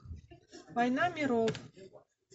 война миров